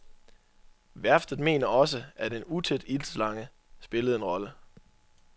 Værftet mener også, at en utæt iltslange spillede en rolle.